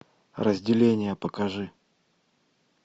разделение покажи